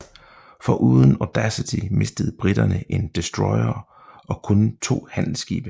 Foruden Audacity mistede briterne en destroyer og kun to handelsskibe